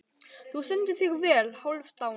Þú stendur þig vel, Hálfdán!